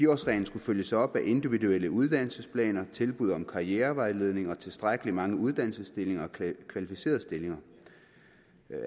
årsreglen skulle følges op af individuelle uddannelsesplaner tilbud om karrierevejledning og tilstrækkelig mange uddannelsesstillinger og kvalificerede stillinger